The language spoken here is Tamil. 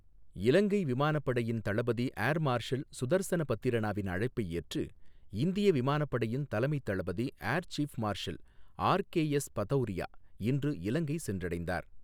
இலங்கை விமானப்படையின் தளபதி ஏர் மார்ஷல் சுதர்சன பத்திரனாவின் அழைப்பை ஏற்று இந்திய விமானப் படையின் தலைமைத் தளபதி air chief marshal RKS Bhadauria இன்று இலங்கை சென்றடைந்தார்.